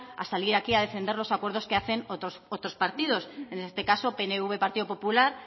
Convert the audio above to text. a salir aquí a defender los acuerdos que hacen otros partidos en este caso pnv pp